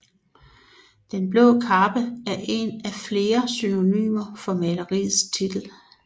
Denne blå kappe er en af flere synonymer for maleriets titel